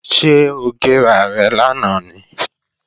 Ṣé ó gé rarẹ̀ lánàá ni?